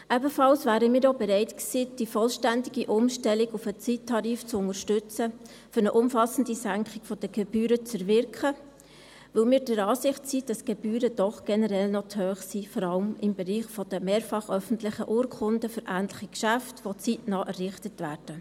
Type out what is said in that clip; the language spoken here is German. Ebenfalls wären wir auch bereit gewesen, die vollständige Umstellung auf den Zeittarif zu unterstützen, um eine umfassende Senkung der Gebühren zu erwirken, weil wir der Ansicht sind, dass die Gebühren doch generell noch zu hoch sind, vor allem im Bereich der mehrfach öffentlichen Urkunden von ähnlichen Geschäften die zeitnah errichtet werden.